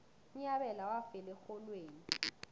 unyabela wafela erholweni